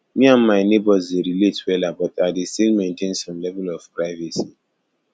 me and my neighbors dey relate wella but i dey still maintain some level of privacy